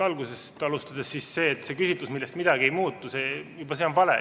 Algusest alustades: juba see, et see on küsitlus, millest midagi ei muutu, on vale.